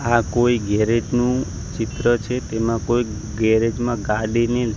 આ કોઈ ગેરેજ નું ચિત્ર છે તેમાં કોઈ ગેરેજ માં ગાડીની--